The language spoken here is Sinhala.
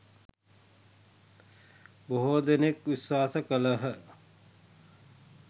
බොහෝ දෙනෙක් විශ්වාස කළහ.